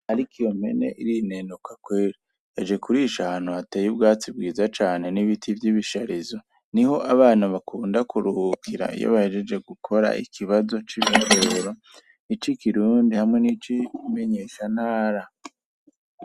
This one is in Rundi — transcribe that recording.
Ariko iyo mpene irinenuka kweri, yaje kurisha ahantu hateye ubwatsi bwiza cane n'ibiti y'ibisharizo, niho abana bakunda kuruhukira iyo bahejeje gukora ikibazo c'ibiharuro, ic'ikirundi hamwe n'icimenyeshantara.